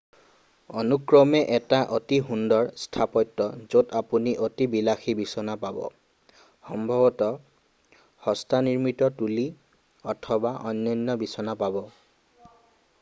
অনুক্ৰমে 1টা অতি সুন্দৰ স্থাপত্য য'ত আপুনি অতি বিলাসী বিচনা পাব সম্ভৱতঃ হস্তনিৰ্মিত তুলি অথবা অনন্য বিচনা পাব